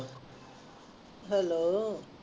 hello